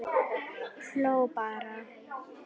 Hló bara.